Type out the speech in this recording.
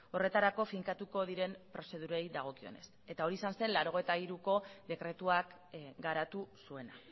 horretarako finkatuko diren prozedurei dagokionez eta hori izan zen laurogeita hiruko dekretuak garatu zuena